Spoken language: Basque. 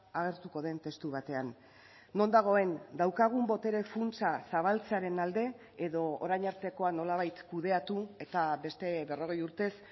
agertuko den testu batean non dagoen daukagun botere funtsa zabaltzearen alde edo orain artekoa nolabait kudeatu eta beste berrogei urtez